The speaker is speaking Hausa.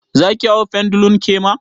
Zaki hau pendulum kema?